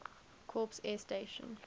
corps air station